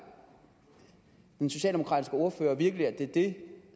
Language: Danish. den socialdemokratiske ordfører virkelig at det er det